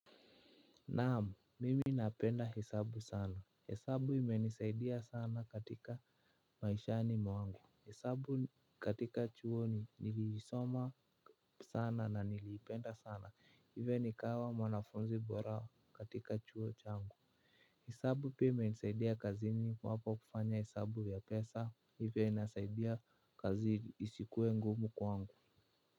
Naam, mimi napenda hesabu sana. Hesabu imenisaidia sana katika maishani mwangu. Hesabu katika chuo ni niliisoma sana na niliipenda sana. Hivo nikawa mwanafunzi bora katika chuo changu. Hesabu pia imenisaidia kazini iwapo kufanya hesabu ya pesa. Hivo inasaidia kazi isikuwe ngumu kwangu.